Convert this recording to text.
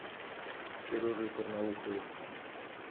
сережей карнауховым